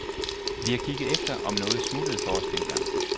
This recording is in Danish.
Vi har kigget efter, om noget smuttede for os dengang.